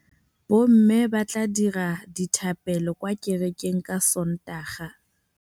Bommê ba tla dira dithapêlô kwa kerekeng ka Sontaga.